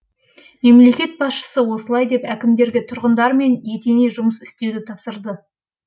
мемлекет басшысы осылай деп әкімдерге тұрғындармен етене жұмыс істеуді тапсырды